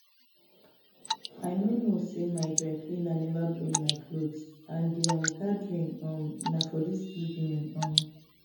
I no know say my dry cleaner never bring my cloth and the um gathering um na for dis evening um